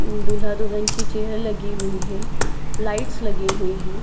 हम्म दूल्हा दुल्हन की चेयर्स लगी हुई है। लाइट्स लगी हुई हैं।